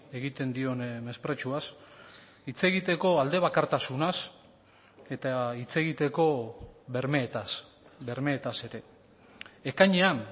egiten dion mespretxuaz hitz egiteko aldebakartasunaz eta hitz egiteko bermeetaz bermeetaz ere ekainean